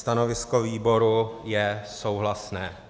Stanovisko výboru je souhlasné.